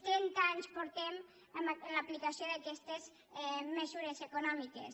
trenta anys portem amb l’aplicació d’aquestes mesures econòmiques